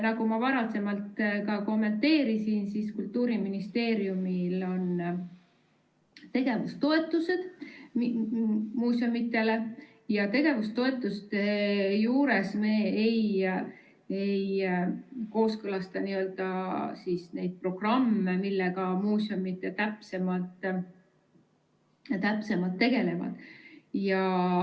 Nagu ma varem ka kommenteerisin, siis Kultuuriministeeriumil on tegevustoetused muuseumidele ja tegevustoetuste juures me ei kooskõlasta neid programme, millega muuseumid täpsemalt tegelevad.